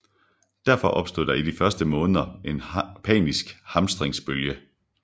Derfor opstod der i de første måneder en panisk hamstringsbølge